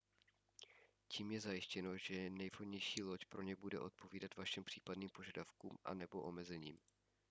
tím je zajištěno že nejvhodnější loď pro ně bude odpovídat vašim případným požadavkům a/nebo omezením